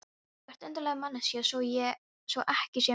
Þú ert undarleg manneskja svo ekki sé meira sagt.